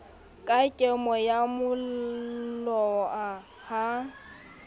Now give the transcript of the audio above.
ka kemo ya moloa ha